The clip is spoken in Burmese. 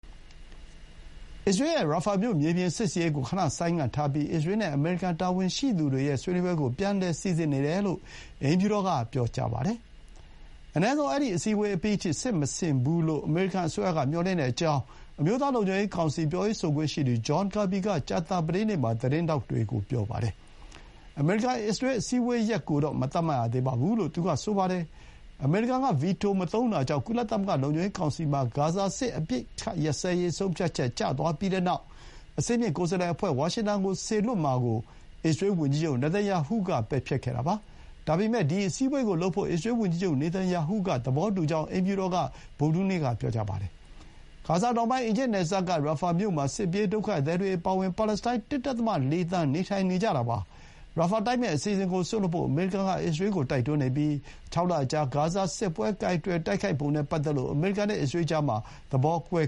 အစ္စရေးရဲ့ ရာဖာမြို့မြေပြင်စစ်ဆင်ရေးကို ခဏဆိုင်းငံ့ထားပြီး အစ္စရေးနဲ့အမေရိကန် တာဝန်ရှိသူတွေရဲ့ဆွေးနွေးပွဲကို ပြန်လည်စီစဥ်နေတယ်လို့ အိမ်ဖြူတော်ကပြောပါတယ်။ အနည်းဆုံး အဲဒီအစည်းအဝေးအပြီးထိ စစ်မဆင်ဘူးလို့ အမေရိကန်အစိုးရက မျှော်လင့်ထားကြောင်း အမျိုးသား လုံခြုံရေးကောင်စီ ပြောရေးဆိုခွင့်ရှိသူ ဂျွန်ကာဘီက ကြာသပတေးနေ့မှာ သတင်းထောက်တွေကို ပြောပါတယ်။ အမေရိကန်-အစ္စရေး အစည်းအဝေးရက်ကိုတော့ မသတ်မှတ်ရသေးဘူးလို့ သူကဆိုပါတယ်။ အမေရိကန်က ဗီတိုမသုံးတာကြောင့် ကုလသမဂ္ဂလုံခြုံရေးကောင်စီမှာ ဂါဇာစစ်အပစ်ရပ်ရေး ဆုံးဖြတ်ချက်ကျသွားပြီးတဲ့နောက် အဆင့်မြင့် ကိုယ်စားလှယ်အဖွဲ့ကို ဝါရှင်တန်ဆီစေလွှတ်မယ့်ကိစ္စ အစ္စရေးဝန်ကြီးချုပ် နေသန်ယာဟုက တနင်္လာနေ့က ပယ်ဖျက်ခဲ့တာပါ။ ဒါပေမဲ့ ဒီ အစည်းအဝေးလုပ်ဖို့ အစ္စရေးဝန်ကြီးချုပ် နေသန်ယာဟုက သဘောတူကြောင်း အိမ်ဖြူတော်က ဗုဒ္ဓဟူးနေ့က ပြောပါတယ်။ ဂါဇာတောင်ပိုင်း အီဂျစ်နယ်စပ်က ရာဖာမြို့မှာ စစ်ပြေးဒုက္ခသည်တွေအပါအဝင် ပါလက်စတိုင်း ၁.၄ သန်း နေထိုင်နေကြပါတယ်။ ရာဖာတိုက်မယ့်အစီအစဥ်ကိုစွန့်လွှတ်ဖို့ အမေရိကန်က အစ္စရေးကို တိုက်တွန်းနေပြီး ၆ လအကြာ ဂါဇာစစ်ပွဲကိုင်တွယ်တိုက်ခိုက်ပုံနဲ့ပတ်သက်လို့ အမေရိကန်နဲ့အစ္စရေးကြား သဘောကွဲ